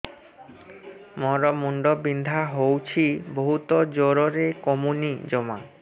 ମୋର ମୁଣ୍ଡ ବିନ୍ଧା ହଉଛି ବହୁତ ଜୋରରେ କମୁନି ଜମା